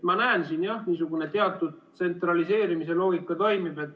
Ma näen siin jah, niisugune teatud tsentraliseerimise loogika toimib.